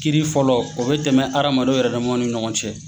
Kiri fɔlɔ o bɛ tɛmɛ hadamadenw yɛrɛ damaw ni ɲɔgɔn cɛ.